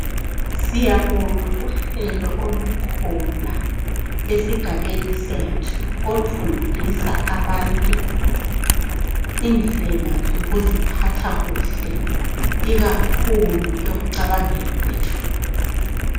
Siyabonga uhlelo olukhona esigaben sethu olufundisa abantu indlela zokuziphatha kuhle ikakhulu ekucabangeni kwethu